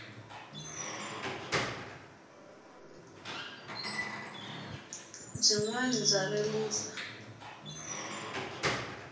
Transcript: byinwani bya rilisa